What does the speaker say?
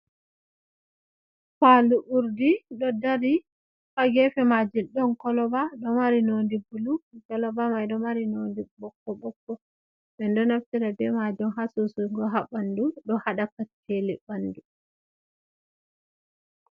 Fadu urdi do dari hagefe majun don koloba do mari nodi bulu ,golabamai do mari nondi bokko bokko be do naftira be majun ha susugo ha bandu do hada katcele bandu.